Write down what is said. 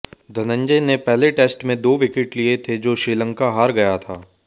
धनंजय ने पहले टेस्ट में दो विकेट लिए थे जो श्रीलंका हार गया था